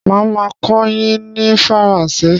Má a máa a kọ́ yin ní Faransé